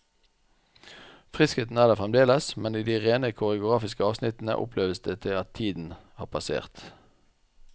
Friskheten er der fremdeles, men i de rene koreografiske avsnittene oppleves det at tiden har passert.